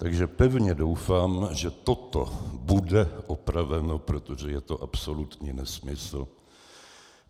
Takže pevně doufám, že toto bude opraveno, protože je to absolutní nesmysl.